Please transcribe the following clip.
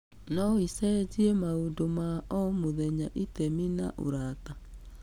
No ĩcenjie maũndũ ma o mũthenya, itemi na ũrata.